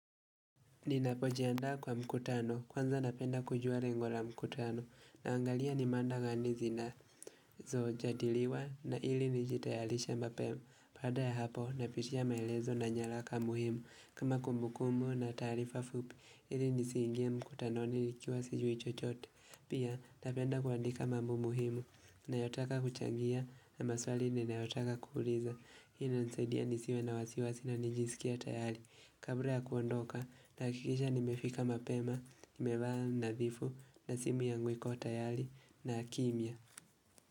Ninapojiandaa kwa mkutano kwanza napenda kujua lengo la mkutano naangalia ni mada gani zinazojadiliwa na ili nijitayarishe mapema. Baada ya hapo napitia maelezo na nyaraka muhimu kama kumbukumbu na taarifa fupi ili nisiingie mkutanoni nikiwa sijui chochote. Pia napenda kuandika mambo muhimu nayotaka kuchangia na maswali ninayotaka kuuliza. Hii inanisaidia nisiwe na wasiwasi na nijisikie tayari. Kabla ya kuondoka nahakikisha nimefika mapema, nimevaa nadhifu na simu yangu iko tayari na kimya.